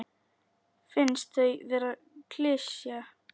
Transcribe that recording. Finnst þau vera klisja.